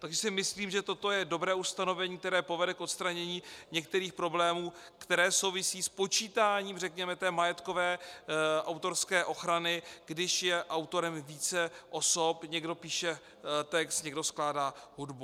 Takže si myslím, že toto je dobré ustanovení, které povede k odstranění některých problémů, které souvisí s počítáním, řekněme, té majetkové autorské ochrany, když je autorem více osob, někdo píše text, někdo skládá hudbu.